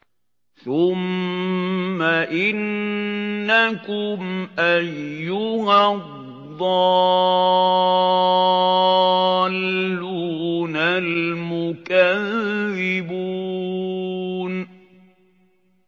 ثُمَّ إِنَّكُمْ أَيُّهَا الضَّالُّونَ الْمُكَذِّبُونَ